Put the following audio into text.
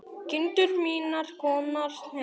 Kindur mínar komnar heim.